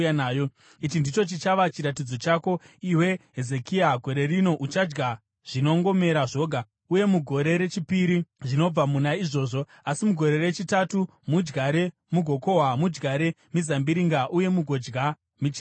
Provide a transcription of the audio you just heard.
“Ichi ndicho chichava chiratidzo chako, iwe Hezekia: “Gore rino uchadya zvinongomera zvoga, uye mugore rechipiri zvinobva muna izvozvo. Asi mugore rechitatu mudyare mugokohwa, mudyare mizambiringa uye mugodya michero yawo.